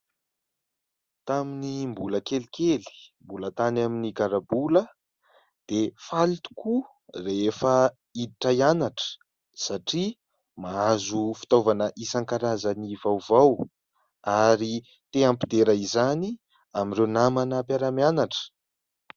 Tamin'ny mbola kelikely, mbola tany amin'ny garabola, dia faly tokoa rehefa hiditra hianatra satria mahazo fitaovana isan-karazany vaovao ary te hampidera izany amin'ireo namana mpiara-mianatra.